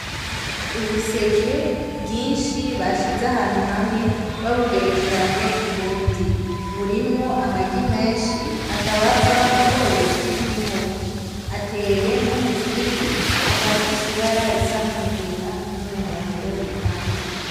Ubuseke bwinshi bashize ahantu hamwe babugerekeranye kubundi, burimwo amagi menshi akaba ava mu bworozi bw'inkoko , ateye nk'umuzingi akaba afise ibara risa nk'umugina n'umuhondo bivanze.